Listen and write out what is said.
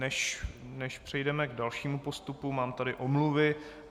Než přejdeme k dalšímu postupu, mám tady omluvy.